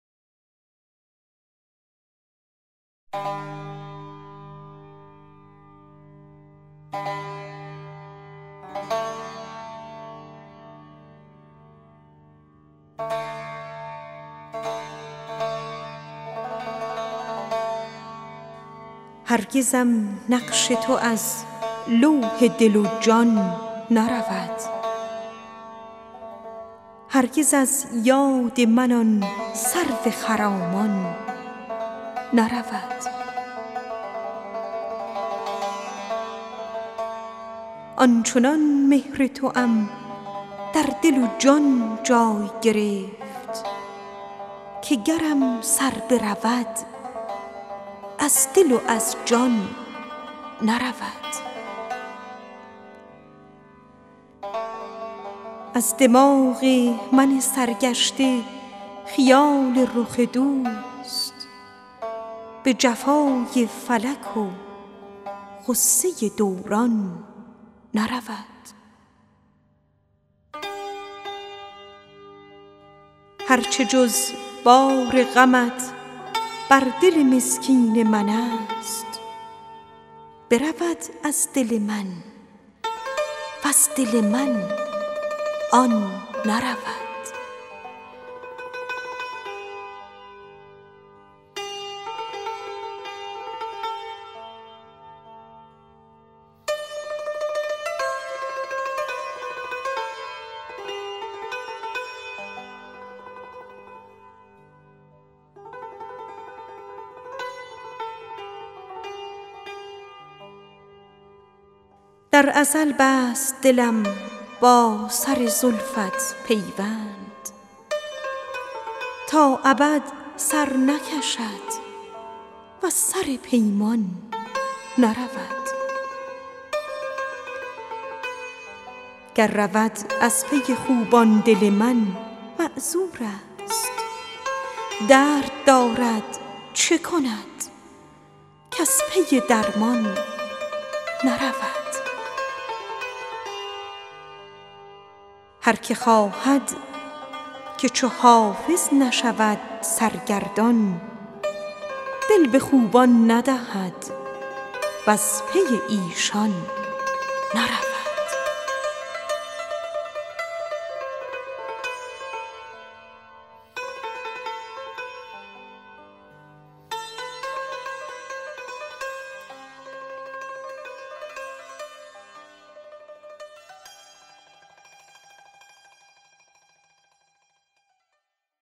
هرگزم نقش تو از لوح دل و جان نرود هرگز از یاد من آن سرو خرامان نرود از دماغ من سرگشته خیال دهنت به جفای فلک و غصه دوران نرود در ازل بست دلم با سر زلفت پیوند تا ابد سر نکشد وز سر پیمان نرود هر چه جز بار غمت بر دل مسکین من است برود از دل من وز دل من آن نرود آن چنان مهر توام در دل و جان جای گرفت که اگر سر برود از دل و از جان نرود گر رود از پی خوبان دل من معذور است درد دارد چه کند کز پی درمان نرود هر که خواهد که چو حافظ نشود سرگردان دل به خوبان ندهد وز پی ایشان نرود